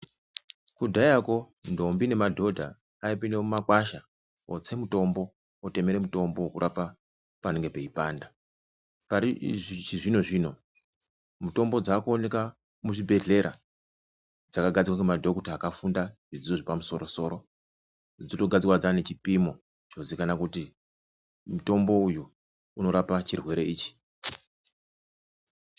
Kudhaya koo ntombi nemadhodha ayipinde mumagwasha otse mutombo otemere mutombo kurapa panenge peyipanda pari chizvino zvino mutombo dzakuoneka muzvibhedhlera dzakagadzirwe nemadhokota akafunda zvidzidzo zvepamusoro soro dzotokagarzirwa dzaane chipimo kuzikanwa kuti mutombo uyu unorape chirwere ichi.